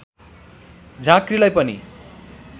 झाँक्रीलाई पनि